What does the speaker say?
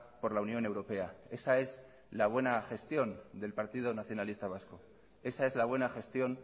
por la unión europea esa es la buena gestión del partido nacionalista vasco esa es la buena gestión